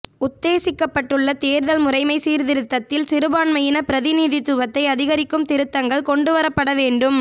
உத்தேசிக்கப்பட்டுள்ள தேர்தல் முறைமை சீர்திருத்தத்தில் சிறுபான்மையின பிரதிநிதித்துவத்தை அதிகரிக்கும் திருத்தங்கள் கொண்டுவரப்பட வேண்டும்